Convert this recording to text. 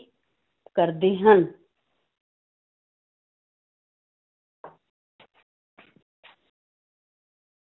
ਕਰਦੇ ਹਨ।